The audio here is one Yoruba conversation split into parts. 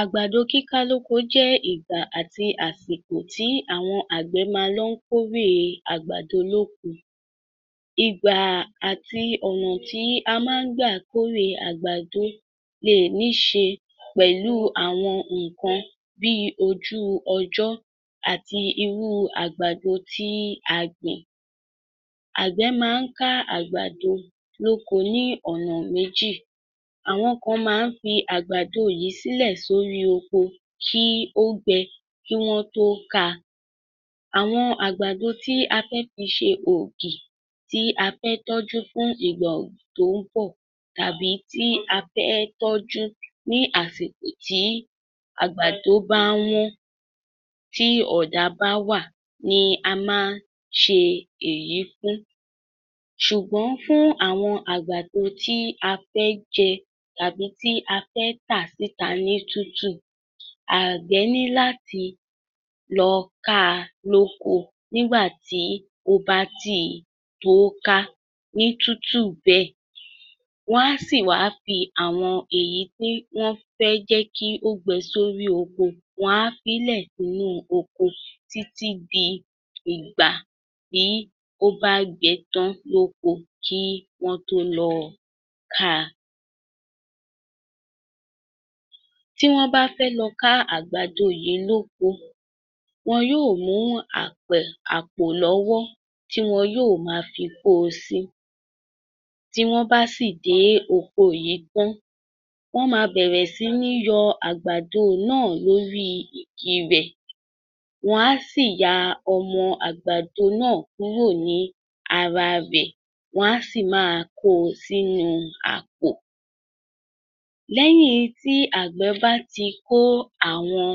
Àgbàdo kíká lóko jẹ́ ìgbà àti àsìkò tí àwọn àgbẹ̀ máa ń lọ ń kórè àwọn àgbàdo lóko. Ìgbà àti ọ̀nà tí a máa ń gbà kórè àgbàdo lè nií ṣe pẹlú àwọn nǹkan bí ojú ọjọ́ àti irú àgbàdo tí a gbìn. Àgbẹ̀ máa ń ká àgbàdo lóko ní ọ̀nà méjì: Àwọn kan máa ń fi àgbàdo yìí sílẹ́ sórí oko kí ó gbẹ kí wọ́n tó ká a. Àwọn àgbàdo tí a fẹ́ fi ṣe ògì tí a fẹ́ tọ́jú fún ìgbà tó ń bọ̀ tàbí tí a fẹ́ tọ́jú ní àsìkò tí àgbàdo bá wọ́n tí ọ̀dá bá wà ni a máa ń ṣe èyí fún, ṣùgbọ́n fún àwọn àgbàdo tí a fẹ́ jẹ tàbí tí a fẹ́ tà ní tútù àgbẹ̀ ní láti lọ ká a lóko nígbà tí ó bá ti tóó ká ní tútù bẹ́ẹ̀, wọ́n a sì wá fi àwọn èyí tí wọ́n á fií lẹ̀ kó gbẹ títí di ìgbà tí ó bá gbẹ tán lóko kí wọ́n tó lọ ká a. Tí wọ́n bá fẹ́ lọ ká àwọn àgbàdo yìí lóko, wọ́n yóò mú àpẹ̀ àpò lọ́wọ́ tí wọn yóò máa fi kó o sí. Tí wọ́n bá sì dé oko yìí tán wọ́n máa bẹ̀rẹ̀ sí ní yọ àgbàdo náà lórí igi gbígbẹ. Wọ́n a sì ya ọmọ àgbàdo náà kúrò ní ara rẹ́, wọ́n á sì máa kó o sínú àpò. Lẹ́yìn tí àgbẹ̀ bá ti kó àwọn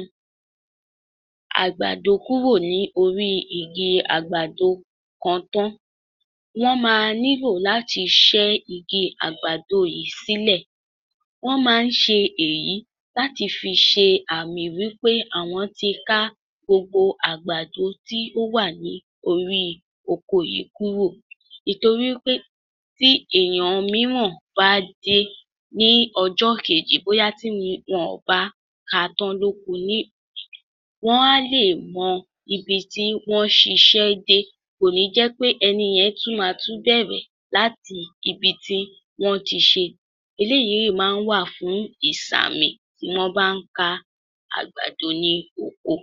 àgbàdo kúrò ní orí igi àgbàdo kan tán wọ́n máa nílò láti ṣẹ́ igi àgbàdo yìí sílẹ̀. Wọ́n máa ń ṣe èyí láti fi ṣe àmì wí pé àwọn ti ká gbogbo àgbàdo tí ó wà ní orí oko yìí kúrò. Ìtorí wí pé tí ènìyàn mìíràn bá dé ní ọjọ́ kejì bóyá tí wọn kò bá ká a tán lóko ni, wọ́n a lè mọ ibi tí wọ́n ṣiṣẹ́ dé, kò ní jẹ́ pé ẹni yẹn tún máa bẹ̀rẹ̀ láti ibi tí wọ́n ti ṣe, eléyìí máa ń wà fún ìṣàmì tí wọ́n bá ń ká àgbàdo ní oko.